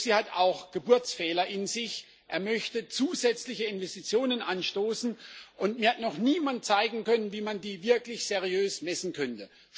Der EFSI hat auch Geburtsfehler in sich Er möchte zusätzliche Investitionen anstoßen, und mir hat noch niemand zeigen können, wie man die wirklich seriös messen könnte.